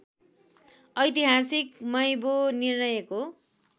ऐतिहासिक मैबो निर्णयको